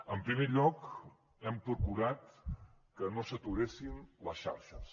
en primer lloc hem procurat que no s’aturessin les xarxes